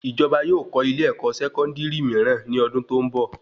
Ìjọba yóò kọ́ ilé ẹkọ sẹkọndiri mìíràn ní ọdún tó n bọ